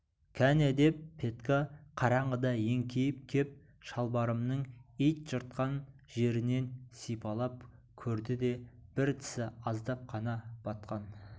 кәне деп петька қараңғыда еңкейіп кеп шалбарымның ит жыртқан жерінен сипалап көрді де бір тісі аздап қана батқан